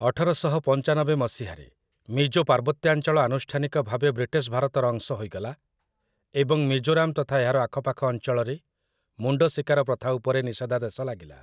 ଅଠରଶହ ପଞ୍ଚାନବେ ମସିହାରେ ମିଜୋ ପାର୍ବତ୍ୟାଞ୍ଚଳ ଆନୁଷ୍ଠାନିକ ଭାବେ ବ୍ରିଟିଶ ଭାରତର ଅଂଶ ହୋଇଗଲା, ଏବଂ ମିଜୋରାମ ତଥା ଏହାର ଆଖପାଖ ଅଞ୍ଚଳରେ ମୁଣ୍ଡ ଶିକାର ପ୍ରଥା ଉପରେ ନିଷେଧାଦେଶ ଲାଗିଲା ।